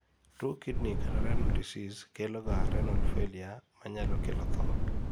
tuwo kidney(renal) disease keloga renal failure manyalo kelo thoo